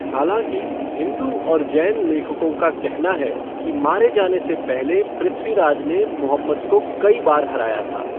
हालाँकि, हिंदू और जैन लेखकों का कहना है कि मारे जाने से पहले पृथ्वीराज़ ने मुहम्मद को कई बार हराया था।